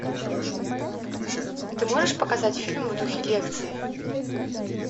ты можешь показать фильм в духе лекции